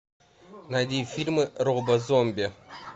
найди фильмы роба зомби